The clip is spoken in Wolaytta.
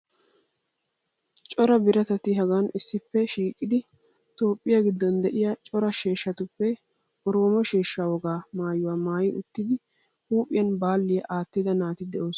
Cora biratatti hagan issippe shiiqidi Toophphiya giddon de'iya cora sheeshshatuppe oroomo sheeshshaa wogaa maayuwa maayi uttidi huuphphiyan calliya aattida naati de'oosona.